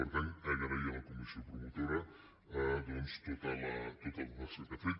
per tant agrair a la comissió promotora doncs tota la tasca que ha fet